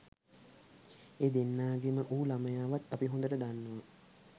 ඒ දෙන්නාගේම වූ ළමයාවත් අපි හොඳට දන්නවා.